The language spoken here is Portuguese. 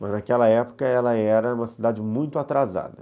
Mas naquela época ela era uma cidade muito atrasada.